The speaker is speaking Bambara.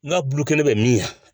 N k'a bɛ min